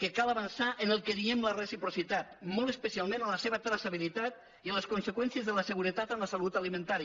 que cal avançar en el que en diem la reciprocitat molt especialment en la seva traçabilitat i en les conseqüències de la seguretat en la salut alimentària